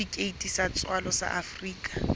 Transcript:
setifikeiti sa tswalo sa afrika